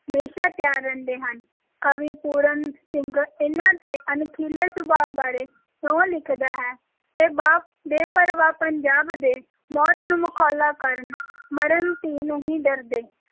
ਹਮੇਸ਼ਾ ਤਿਆਰ ਰਹਿੰਦੇ ਹਨ, ਕਵੀ ਪੂਰਨ ਸਿੰਘ ਇਨ੍ਹਾਂ ਦੇ ਅਣਖੀਲੇ ਸੁਭਾ ਬਾਰੇ ਇਉਂ ਲਿਖਦਾ ਹੈ, ਇਹ ਬਾ~ ਬੇਪਰਵਾਹ ਪੰਜਾਬ ਦੇ, ਮੌਤ ਨੂੰ ਮਖੌਲਾਂ ਕਰਨ ਮਰਨ ਥੀ ਨਹੀਂ ਡਰਦੇ।